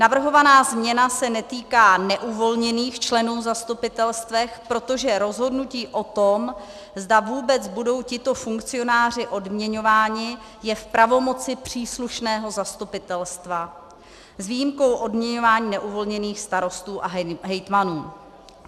Navrhovaná změna se netýká neuvolněných členů zastupitelstev, protože rozhodnutí o tom, zda vůbec budou tito funkcionáři odměňováni, je v pravomoci příslušného zastupitelstva, s výjimkou odměňování neuvolněných starostů a hejtmanů.